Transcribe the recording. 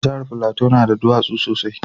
Jahar Plateau na da duwatsu sosai